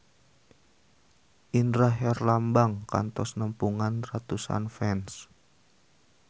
Indra Herlambang kantos nepungan ratusan fans